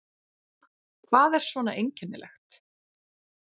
Hvað er svona einkennilegt?